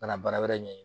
Ka na baara wɛrɛ ɲini